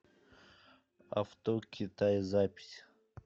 авто китай запись